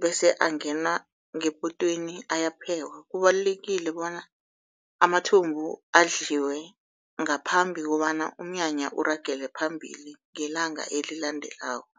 bese angena ngepotweni ayaphekwa. Kubalulekile bona amathumbu adliwe ngaphambi kobana umnyanya uragele phambili ngelanga elilandelako.